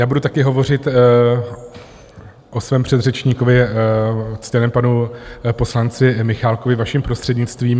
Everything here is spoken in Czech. Já budu taky hovořit o svém předřečníkovi, ctěném panu poslanci Michálkovi, vaším prostřednictvím.